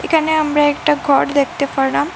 এখানে আমরা একটা ঘর দেখতে পারলাম।